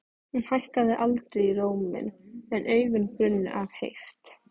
Hún hækkaði aldrei róminn en augun brunnu af heift.